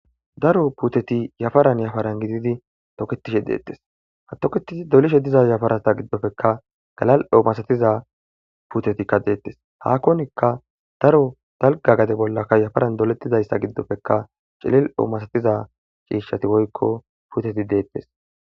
daro puteti yafaran yafaran gididi toketishe deettes hatoketi dolishe diza yafarata giddofekka galal7o masatiza putetikka deettes hakonikka daro dalga gade bollaka yafaran doletidayssa giddofekka cilel7o masatiza ciishshati woykko puteti deettes